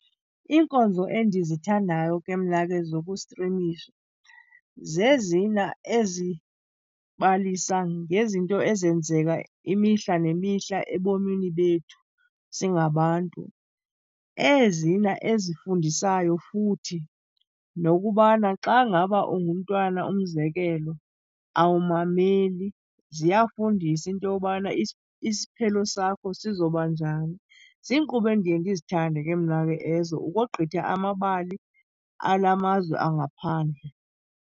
Iinkonzo endizithandayo ke mna ke zokustrimisha zezina ezibalisa ngezinto ezenzeka imihla nemihla ebomini bethu singabantu. Ezina ezifundisayo futhi nokubana xa ngaba ungumntwana umzekelo, awumameli, ziyafundisa into yobana isiphelo sakho sizobanjani. Ziinkqubo endiye ndizithande ke mna ke ezo ukogqitha amabali alamazwe angaphandle.